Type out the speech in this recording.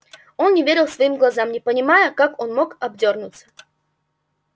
он не верил своим глазам не понимая как мог он обдёрнуться